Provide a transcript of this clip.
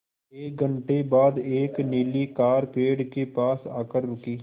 एक घण्टे बाद एक नीली कार पेड़ के पास आकर रुकी